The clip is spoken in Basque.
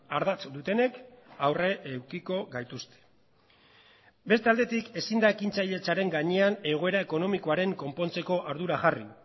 ardatz dutenek aurre edukiko gaituzte beste aldetik ezin da ekintzailetzaren gainean egoera ekonomikoaren konpontzeko ardura jarri